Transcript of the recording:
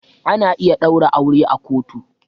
Ana iya ɗaura aure a kotu.